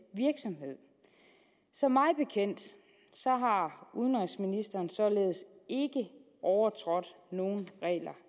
virksomhed så mig bekendt har udenrigsministeren således ikke overtrådt nogen regler